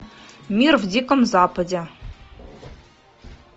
мир в диком западе